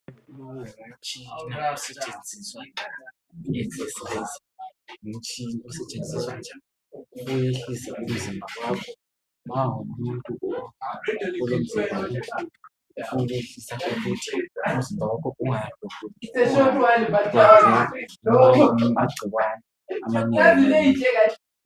Lowu ngumtshina osetshenziswa ukuyehlisa umzimba wakho nxa ungumuntu olomzimba omkhulu oyehlisa ukuthi umzimba wakho ungahlaselwa ngama gcikwane amanengi